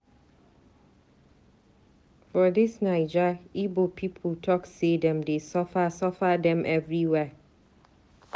For dis Naija Ibo pipu talk sey dem dey suffer suffer dem everywhere.